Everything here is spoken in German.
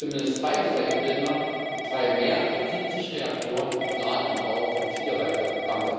Zumindest zwei dieser EU Länder betreiben mehr als 70 Reaktoren und planen den Bau von vier weiteren.